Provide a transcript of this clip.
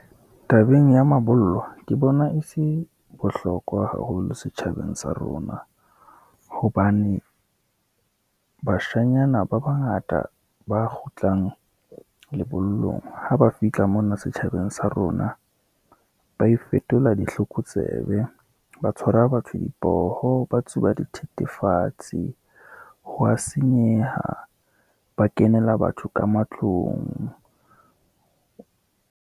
Tabeng ya mabollo, ke bona e se bohlokwa haholo setjhabeng sa rona, hobane bashanyana ba bangata ba kgutlang lebollong ha ba fihla mona setjhabeng sa rona, ba ifetola ditlokotsebe, ba tshwara batho dipoho, ba tsuba dithethefatsi, hwa senyeha. Ba kenela batho ka matlong.